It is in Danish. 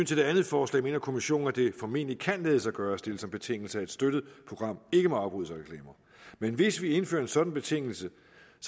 til det andet forslag mener kommissionen at det formentlig kan lade sig gøre at stille som betingelse at et støttet program ikke må afbrydes af reklamer men hvis vi indfører en sådan betingelse